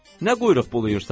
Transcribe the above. Nə quyruq bulayırsan?